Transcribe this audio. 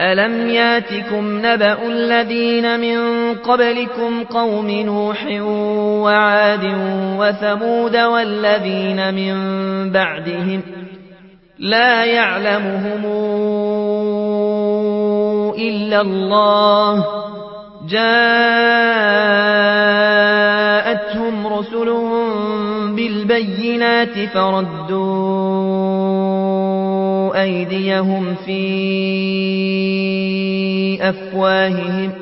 أَلَمْ يَأْتِكُمْ نَبَأُ الَّذِينَ مِن قَبْلِكُمْ قَوْمِ نُوحٍ وَعَادٍ وَثَمُودَ ۛ وَالَّذِينَ مِن بَعْدِهِمْ ۛ لَا يَعْلَمُهُمْ إِلَّا اللَّهُ ۚ جَاءَتْهُمْ رُسُلُهُم بِالْبَيِّنَاتِ فَرَدُّوا أَيْدِيَهُمْ فِي أَفْوَاهِهِمْ